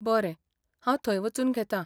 बरें, हांव थंय वचून घेतां.